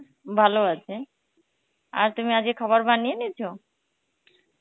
ভালো আছে, আর তুমি আজকে খাবার বানিয়ে নিয়েছো?